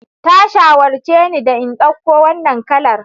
Ta shawarce ni da in dauko wannan kalar.